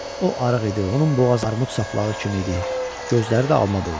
O arıq idi, onun boğazı armud saplağı kimi idi, gözləri də alma boyda.